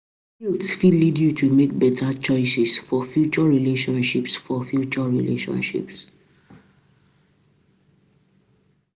Guilt fit lead yu to mek beta choices for future relationships.